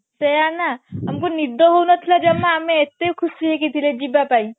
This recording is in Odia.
ସେଇଆ ନା ତାଙ୍କୁ ନିଦ ହଉନଥିଲା ଜମା ଆମେ ଏତେ ଖୁସି ଥିଲେ ଯିବା ପାଇଁ